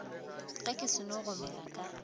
ge ke seno gomela ka